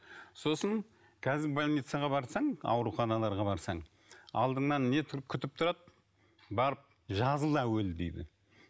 сосын қазір больницаға барсаң ауруханаларға барсаң алдыңнан не күтіп тұрады барып жазыл әуелі дейді